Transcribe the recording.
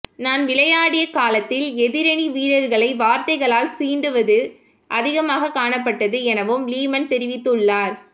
நான் விளையாடிய காலத்தில் எதிரணி வீரர்களை வார்த்தைகளால் சீண்டுவது அதிகமாக காணப்பட்டது எனவும் லீமன் தெரிவித்துள்ளார்